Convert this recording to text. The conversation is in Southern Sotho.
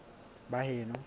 baheno